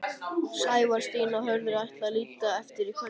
Sævar, Stína og Hörður ætla að líta inn eftir kvöldmat.